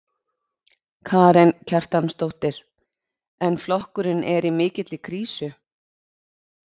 Karen Kjartansdóttir: En flokkurinn er í mikilli krísu?